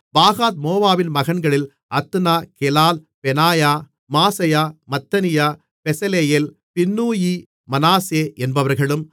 பாகாத்மோவாபின் மகன்களில் Adna Chelal Benaiah Maaseiah Mattaniah Bezalel Binnui Manasseh என்பவர்களும்